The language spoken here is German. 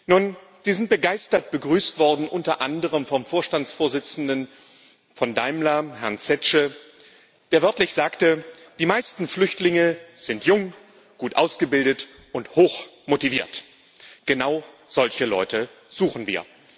Nun, sie sind begeistert begrüßt worden, unter anderem vom Vorstandsvorsitzenden von Daimler, Herrn Zetsche, der wörtlich sagte Die meisten Flüchtlinge sind jung, gut ausgebildet und hoch motiviert genau solche Leute suchen wir.